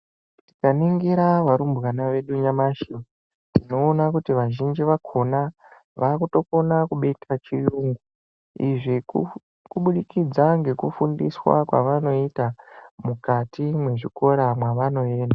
Tikaningira varumbwana vedu nyamashi tinoona kuti vazhinji vakhona vakutokona kubeta chiyungu, izvi kubudikidza ngekufundiswa kwavanoita mukati mwezvikora mwavanoenda.